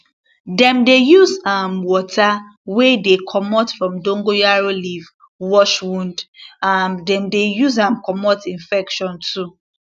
dem dey use um water wey dey comot from dongoyaro leaf wash wound um dem dey use am comot infection too